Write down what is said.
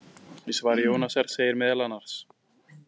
Í svari Jónasar segir meðal annars: